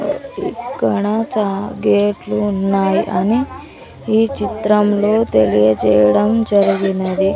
ఇక్కడ చా గేట్లు ఉన్నాయి అని ఈ చిత్రంలో తెలియజేయడం జరిగినది.